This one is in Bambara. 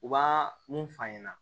U b'a mun f'a ɲɛna